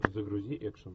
загрузи экшн